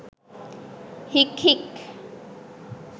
හික් හික්